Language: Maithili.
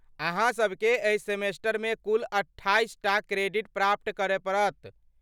अहाँ सबके एहि सेमेस्टरमे कुल अट्ठाइसटा क्रेडिट प्राप्त करय पड़त।